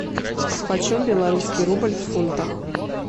почем белорусский рубль в фунтах